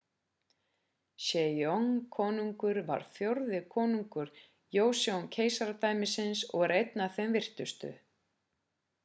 sejong konungur var fjórði konungur joseon-keisaradæmisins og er einn af þeim virtustu